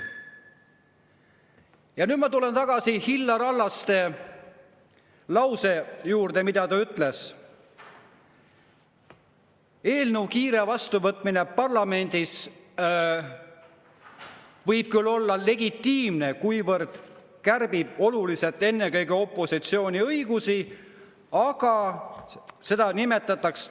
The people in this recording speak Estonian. Ja nüüd ma tulen tagasi Illar Hallaste lause juurde, mis ta ütles: eelnõu kiire vastuvõtmine parlamendis võib küll olla legitiimne, kuivõrd kärbib oluliselt ennekõike opositsiooni õigusi, aga seda nimetatakse …